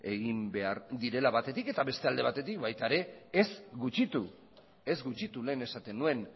egin behar direla batetik eta beste alde batetik baita ere ez gutxitu lehen esaten nuen